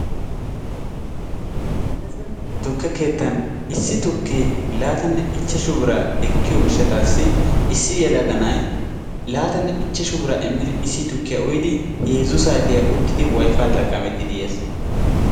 melese tukke keettan issi tukkee laatammaanne ishshashu bira ekkiyo gishaassi issi yelaga na'ay laatammaanne ishshashu bira immidi issi tukkiya uyyidi heezzu saatiya uttidi wayfaa xaqqamettidi yes.